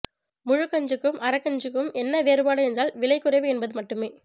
முழுக்கஞ்சிக்கும் அரக்கஞ்சிக்கும் என்ன வேறுபாடு என்றால் விலை குறைவு என்பது மட்டுமே